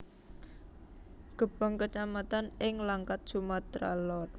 Gebang kecamatan ing Langkat Sumatera Lor